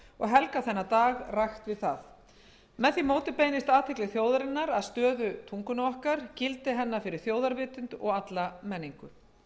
helgað þennan dag rækt við það með því móti beinist athygli þjóðarinnar að stöðu tungunnar gildi hennar fyrir þjóðarvitund og alla menningu